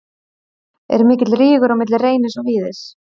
Er mikill rígur á milli Reynis og Víðis?